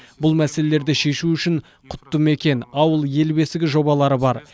бұл мәселелерді шешу үшін құтты мекен ауыл ел бесігі жобалары бар